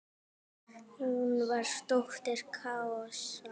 Hún var dóttir Kaosar.